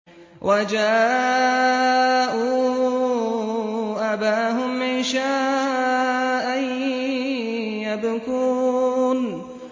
وَجَاءُوا أَبَاهُمْ عِشَاءً يَبْكُونَ